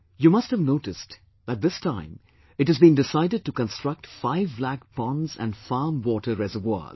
You must have noticed that this time it has been decided to construct five lakh ponds and farm water reservoirs